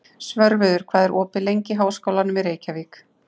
Svörfuður, hvað er opið lengi í Háskólanum í Reykjavík?